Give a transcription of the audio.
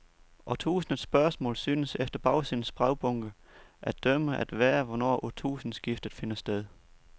Årtusindets spørgsmål synes, efter bagsidens brevbunke at dømme, at være, hvornår årtusindskiftet finder sted.